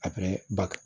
ba